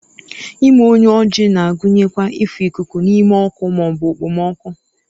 ime onye oji na-agụnyekwa ịfụ ikuku n'ime ọkụ ma ọ bụ okpomọkụ